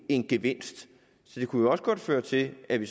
en gevinst så det kunne jo også godt føre til at vi